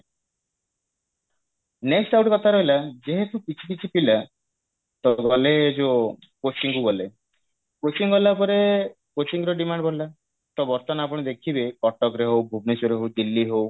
next ଆଉ ଗୋଟେ କଥା ରହିଲା ଯେହେତୁ କିଛି କିଛି ପିଲା ତ ଗଲେ ଯୋ coaching କୁ ଗଲେ coaching ଗଲା ପରେ coaching ର demand ବଢିଲା ତ ବର୍ତମାନ ଆପଣ ଦେଖିବେ କଟକରେ ହଉ ଭୁବନେଶ୍ବରରେ ହଉ ଦିଲ୍ଲୀ ହଉ